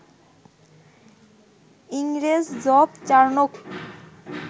ইংরেজ Job Charnock